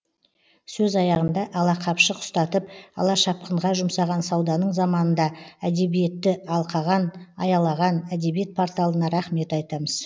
сөз аяғында алақапшық ұстатып алашапқынға жұмсаған сауданың заманында әдебиетті алқаған аялаған әдебиет порталына рахмет айтамыз